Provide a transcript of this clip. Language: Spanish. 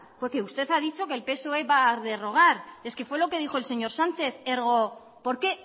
porque usted ha dicho que el psoe va a derogar es que fue lo que dijo el señor sánchez ergo por qué